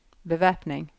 bevæpning